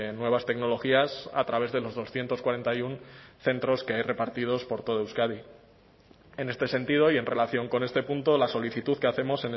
nuevas tecnologías a través de los doscientos cuarenta y uno centros que hay repartidos por toda euskadi en este sentido y en relación con este punto la solicitud que hacemos